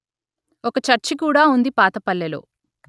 ఒక చర్చి కూడా ఉంది పాత పల్లెలో